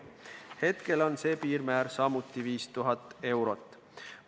Hetkel on see piirmäär samuti 5000 eurot.